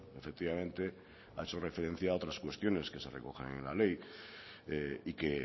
efectivamente ha hecho referencia a otras cuestiones que se recogen en la ley y que